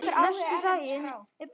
Nesti dagsins er búið.